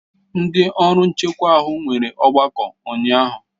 Ndị ọrụ nchekwa ahụ nwere ọgbakọ ụnyahụ.